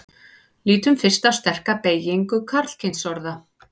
lítum fyrst á sterka beygingu karlkynsorða